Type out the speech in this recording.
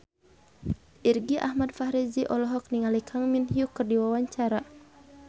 Irgi Ahmad Fahrezi olohok ningali Kang Min Hyuk keur diwawancara